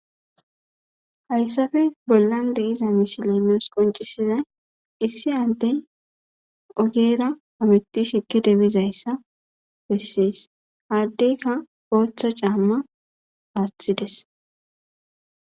hayssafe bollan de7iza misileemos qoncisiday issi addey ogeera amiti shikki debizayssa bessees haaddeyka booththa caamma paathides